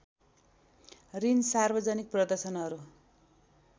ऋण सार्वजनिक प्रदर्शनहरू